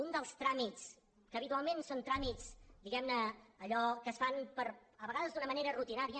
un dels tràmits que habitualment són tràmits diguem ne allò que es fan a vegades d’una manera rutinària